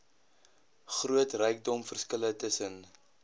groot rykdomverskille tussen